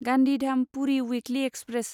Gandhidham Puri weekly express